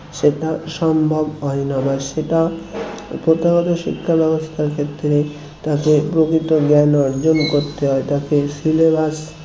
সেটা সম্ভব হয় না বা সেটা প্রথাগত শিক্ষা ব্যাবস্থার ক্ষেত্রে তাকে প্রকৃত জ্ঞান অর্জন করতে হয় তাকে syllabus